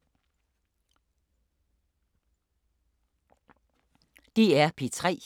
DR P3